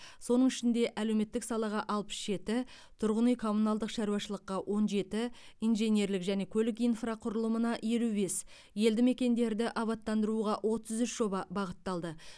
соның ішінде әлеуметтік салаға алпыс жеті тұрғын үй коммуналдық шаруашылыққа он жеті инженерлік және көлік инфрақұрылымына елу бес елді мекендерді абаттандыруға отыз үш жоба бағытталды